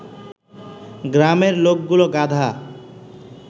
গ্রামের লোকগুলো গাধা